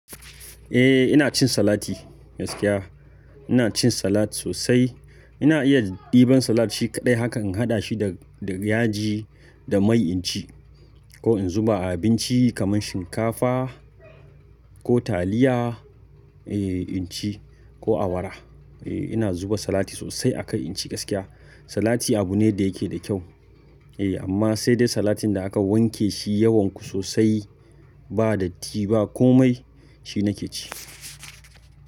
Eh ina cin salati gaskiya. Ina cin salat sosai. Ina iya ɗiban salat shi kaɗai haka in haɗa shi da-da yaji da mai in ci. Ko in zuba a abinci kamar shinkafa ko taliya eh in ci ko awara. Eh ina zuba salat sosai a kai in ci gaskiya. Salati abu ne da yake da kyau eh amma sai dai salatin da aka wanke shi yawan ku sosai ba datti ba ko mai shi nake ci.